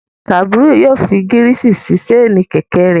Kabiru yoo fi girisi si ṣaini kẹ̀kẹ́ rẹ